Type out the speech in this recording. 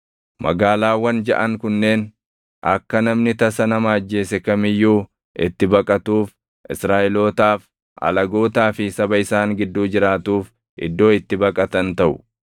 Magaalaawwan jaʼan kunneen akka namni tasa nama ajjeese kam iyyuu itti baqatuuf Israaʼelootaaf, alagootaa fi saba isaan gidduu jiraatuuf iddoo itti baqatan taʼu.